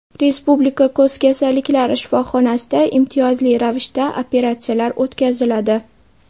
Respublika ko‘z kasalliklari shifoxonasida imtiyozli ravishda operatsiyalar o‘tkaziladi.